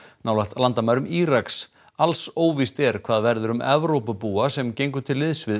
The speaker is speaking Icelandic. nálægt landamærum Íraks alls óvíst er hvað verður um Evrópubúa sem gengu til liðs við